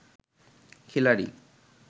খিলাড়ি